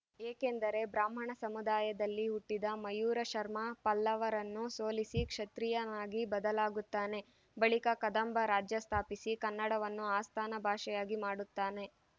ಏಕೆಂದರೆ ಬ್ರಾಹ್ಮಣ ಸಮುದಾಯದಲ್ಲಿ ಹುಟ್ಟಿದ ಮಯೂರ ಶರ್ಮಾ ಪಲ್ಲವರನ್ನು ಸೋಲಿಸಿ ಕ್ಷತ್ರೀಯನಾಗಿ ಬದಲಾಗುತ್ತಾನೆ ಬಳಿಕ ಕದಂಬ ರಾಜ್ಯ ಸ್ಥಾಪಿಸಿ ಕನ್ನಡವನ್ನು ಆಸ್ಥಾನ ಭಾಷೆಯಾಗಿ ಮಾಡುತ್ತಾನೆ